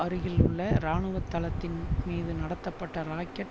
அருகில் உள்ள இராணுவ தளத்தின் மீது நடத்தப்பட்ட ராக்கெட்